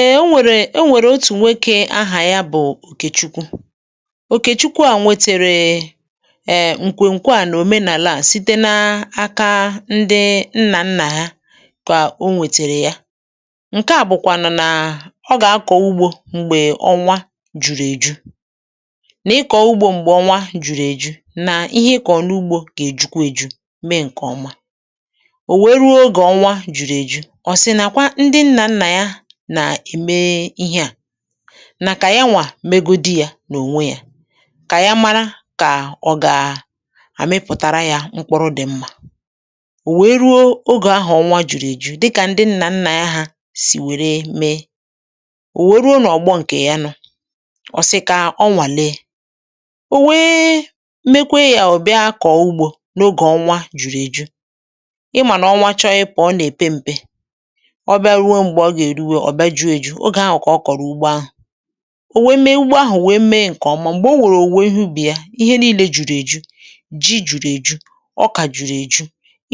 Ee o nwèrè o nwere otù nwokė ahà ya bụ̀ Okèchukwu. Okèchukwu à nwetèrè um ǹkwè ǹkwe a nà òmenàlaa site n’aka ndi nnà nnà ya kà o nwètèrè ya. Nke à bụ̀kwànụ̀ nà ọ gà-akọ̀ ugbȯ m̀gbè ọnwa jùru èju, nà ịkọ̀ọ ugbȯ m̀gbè ọnwa jùru èju, nà ihe ị kọ̀rọ n’ugbȯ gà èjukwa èju, mee ǹkè ọma. O wèe ruo oge ọnwa jùru èju ọ sị na kwa ndị nna nna ya nà ème ihe à, nà kà ya nwà megodi yȧ n’ònwe yȧ kà ya mara kà ọ gà àmịpụ̀tara yȧ mkpụrụ dị̇ mmȧ. O wèe ruo ogè ahụ̀ ọnwa jùrù èjù dịkà ndị nnà nnà ya hȧ sì wère mee, o wèe ruo nà ọ̀gbọ ǹkè ya nụ̇, ọ̀ sị kà ọ nwà lee. O wee mekwaa yȧ o bịa kọọ ụgbȯ n’ogè ọnwa jùrù èjù. Ị mà nà ọnwa chọrọ ịpụ̀ ọ nà èpe m̀pe, ọ bịa ruo mgbe ọ ga eruwa ọ bịa ju̇ èju̇. Ogè ahụ̀ kà ọ kọ̀rọ̀ ugbo ahụ̀. O wee mee ugbo ahụ̀ wee mee ǹkè ọma, m̀gbè o wèrè owuwe ihe ubì ya, ihe niilė jùru èju. Ji jùru èju, ọkà jùru èju,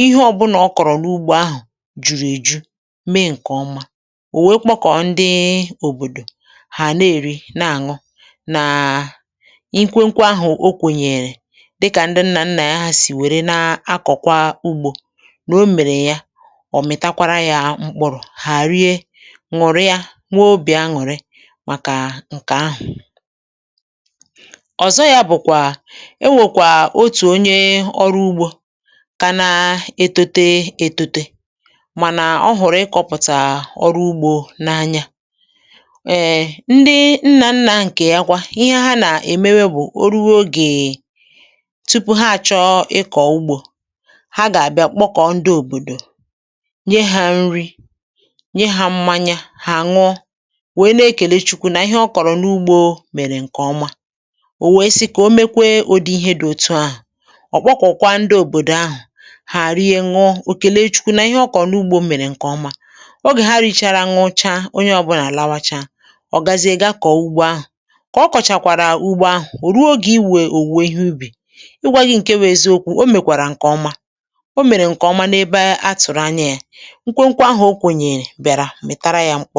ihe ọ̀ bụnà ọ kọ̀rọ̀ n’ugbȯ ahụ̀ jùru èju, mee ǹkè ọma. O wèe kpọkọ̀ ndị òbòdò, hà na-èri na-àṅụ nàà nkwe nkwe ahụ̀ okwenyèrè dịkà ndị nnà nnà ya sì wère n’akọ̀kwa ugbȯ, nà o mèrè ya, ọ mịtakwara ya mkpụrụ, ha rie, ṅụ̀rịa, nwee obì aṅụ̀rị màkà ǹkè ahụ̀. Ọzọ ya bụ̀kwà e nwèkwà otù onye ọrụ ugbȯ ka na etote etote mànà ọ hụ̀rụ̀ ịkọ̇pụ̀tà ọrụ ugbȯ n’anya. um Ndị nna nnȧ ǹkè ya kwa, ihe ha nà-èmewe bụ̀ o ruo ogèe, tupu ha à chọ ịkọ̀ ugbȯ ha gà-àbịa kpọkọ̀ ndị òbòdò, nye ha nri, nye ha mmanya, ha aṅụọ wèe na-ekèle chukwu̇ nà ihe ọ kọ̀rọ̀ n’ugbȯ mèrè ǹkè ọma, ò wèe si kà o mekwee ụdị ihe di òtu ahụ̀. Ọ kpọkọ̀kwa ndị òbòdò ahụ̀ hà rie, ṅụọ, ò kèle Chukwu̇ nà ihe ọ kọ̀rọ̀ n’ugbȯ mèrè ǹkè ọma. Ogè ha rìchàrà, ṅụcha, onye ọbụlà àlawacha, ọ̀ gazie ga kọ̀ọ ugbȯ ahụ̀. Kà ọ kọ̀chàkwàrà ugbȯ ahụ̀, ò ruo ogè iwė òwùwè ihe ụbì. Ị gwa gị ǹke bụ eziokwu̇ o mèkwàrà ǹkè ọma. O mèrè ǹkè ọma n’ebe a tụ̀rụ anya yȧ. Nkwenkwe ahụ o kwenyere bịara mịtara ya mkpụ